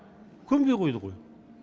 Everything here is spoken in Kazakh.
көнбей қойды ғой